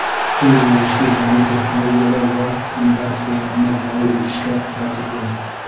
bu yo‘nalishga yangi texnologiyalar va innovatsiyalarni joriy etishga qaratilgan.